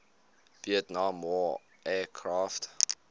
vietnam war aircraft